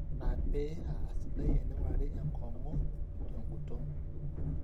ina pee aasidai eneing'urari enkong'u teng'uton